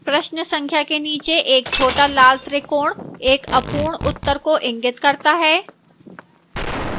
प्रश्न संख्या के नीचे एक छोटा लाल त्रिकोण एक अपूर्ण उत्तर को इंगित करता है